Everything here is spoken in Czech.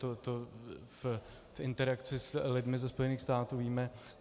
To v interakci s lidmi ze Spojených států víme.